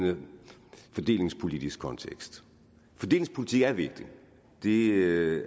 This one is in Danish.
fordelingspolitisk kontekst fordelingspolitik er vigtig det